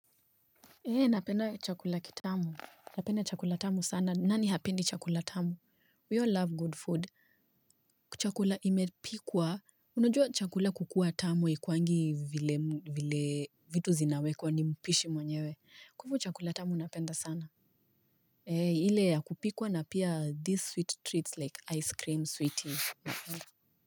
Napenda chakula kitamu. Napenda chakula tamu sana. Nani hapendi chakula tamu? We all love good food. Chakula imepikwa. Unajua chakula kukua tamu haikuwangi vile vitu zinawekwa ni mpishi mwenyewe. Kwa hinyo chakula tamu napenda sana. Ile ya kupikwa na pia these sweet treats like ice cream sweet tea.